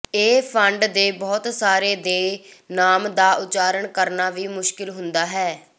ਇਹ ਫੰਡ ਦੇ ਬਹੁਤ ਸਾਰੇ ਦੇ ਨਾਮ ਦਾ ਉਚਾਰਨ ਕਰਨਾ ਵੀ ਮੁਸ਼ਕਲ ਹੁੰਦਾ ਹੈ